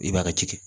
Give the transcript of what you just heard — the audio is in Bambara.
I b'a tigɛ